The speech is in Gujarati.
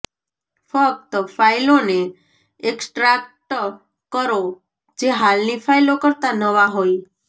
ફક્ત ફાઇલોને એક્સ્ટ્રાક્ટ કરો જે હાલની ફાઇલો કરતા નવા હોય